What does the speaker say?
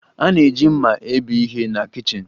A na-eji mma ebe ihe na kichin.